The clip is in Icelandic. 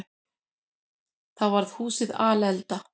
Þá var húsið alelda.